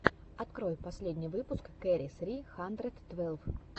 открой последний выпуск кэрри сри хандрэд твэлв